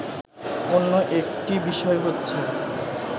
অন্য একটি বিষয় হচ্ছে